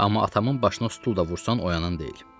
Amma atamın başına stul da vursan oyanan deyil.